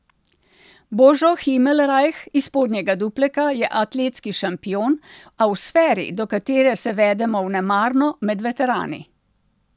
Božo Himelrajh iz Spodnjega Dupleka je atletski šampion, a v sferi, do katere se vedemo vnemarno, med veterani.